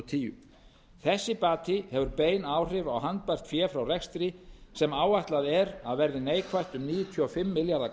og tíu þessi bati hefur bein áhrif á handbært fé frá rekstri sem áætlað er að verði neikvætt um níutíu og fimm milljarða